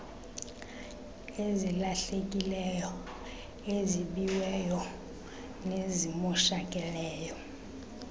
ezilahlekileyo ezibiweyo nezimoshakeleyo